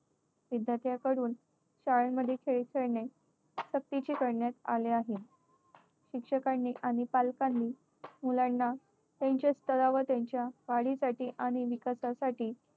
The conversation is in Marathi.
विद्यार्थ्याकडून शाळेमध्ये खेळ खेळणे सक्तीचे करण्यात आले आहे. शिक्षकांनी आणि पालकांनी मुलांना त्यांच्या स्तरावर त्यांच्या वाढीसाठी आणि विकासासाठी